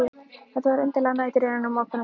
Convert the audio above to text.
Þetta voru undarlegar nætur innan um ókunnugt fólk.